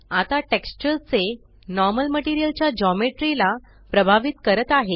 आता टेक्सचर चे normal material च्या ज्योमेट्री ला प्रभावित करत आहे